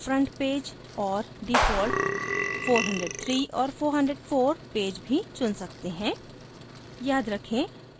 हम एक default front page और default 403 और 404 पैज भी चुन सकते हैं